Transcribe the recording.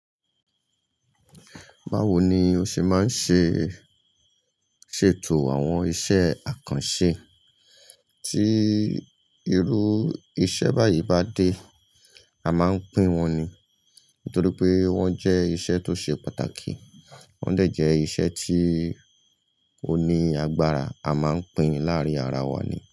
Báwo ni o ṣe máa ń ṣe, ṣètò àwọn iṣẹ́ àkànṣe? Tí irú iṣẹ́ báyìí bá dé, a máa ń pín wọn ni. Nítorí pé wọ́n jẹ́ iṣẹ́ tó ṣe pàtàkì, wọn dẹ̀ jẹ́ iṣẹ́ tí oní agbára a máa ń pín láàrin ara wa ni.